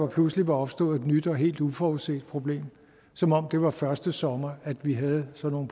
pludselig var opstået et nyt og helt uforudset problem som om det var første sommer vi havde sådan